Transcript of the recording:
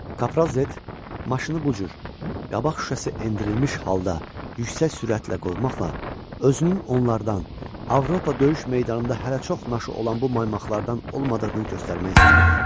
Kapraz Zet, maşını bu cür qabaq şüşəsi endirilmiş halda yüksək sürətlə qovmaqla özünün onlardan, Avropa döyüş meydanında hələ çox naşı olan bu maymaqlardan olmadığını göstərmək istəyirdi.